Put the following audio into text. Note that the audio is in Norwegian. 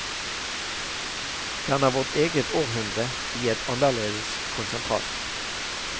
Den er vårt eget århundre i et annerledes konsentrat.